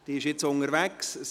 Sie ist nun unterwegs.